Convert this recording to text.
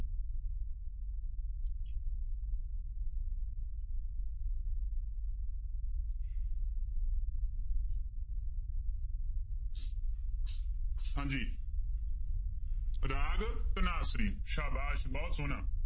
ਹਾਂਜੀ ਰਾਗ ਧਨਾਸਰੀ ਸਾਬਾਸ਼ ਬਹੁਤ ਸੋਹਣਾ।